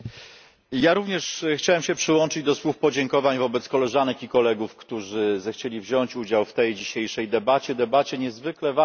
Ja również chciałbym się przyłączyć do słów podziękowań wobec koleżanek i kolegów, którzy zechcieli wziąć udział w tej dzisiejszej debacie, debacie niezwykle ważnej.